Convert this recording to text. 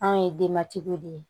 Anw ye denbatigiw de ye